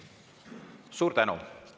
Suur tänu!